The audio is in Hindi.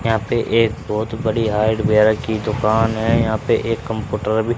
यहां पे एक बहुत बड़ी हार्डवेयर की दुकान है यहां पे एक कंप्यूटर भी--